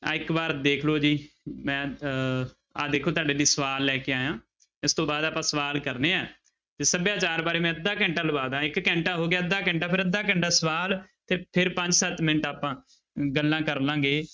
ਆਹ ਇੱਕ ਵਾਰ ਦੇਖ ਲਓ ਜੀ ਮੈਂ ਅਹ ਆ ਦੇਖੋ ਤੁਹਾਡੇ ਲਈ ਸਵਾਲ ਲੈ ਕੇ ਆਇਆਂ, ਇਸ ਤੋਂ ਬਾਅਦ ਆਪਾਂ ਸਵਾਲ ਕਰਨੇ ਹੈ ਤੇ ਸਭਿਆਚਾਰ ਬਾਰੇ ਮੈਂ ਅੱਧਾ ਘੰਟਾ ਲਵਾ ਦੇਵਾਂ, ਇੱਕ ਘੰਟਾ ਹੋ ਗਿਆ ਅੱਧਾ ਘੰਟਾ ਫਿਰ ਅੰਧਾ ਘੰਟਾ ਸਵਾਲ ਤੇ ਫਿਰ ਪੰਜ ਸੱਤ ਮਿੰਟ ਆਪਾਂ ਗੱਲਾਂ ਕਰ ਲਵਾਂਗੇ।